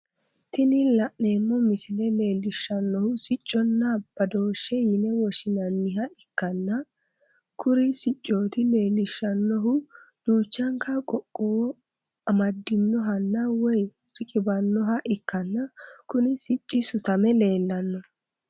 Tini la'neemmo misile leellishshannohu sicconna badoosheho yine woshshinanniha ikkanna, kuriu sicoti leellishshannohu duuchanka qoqqowo amadinohanna woy riqibbannoha ikkanna, kuni sicci sutame leellanno.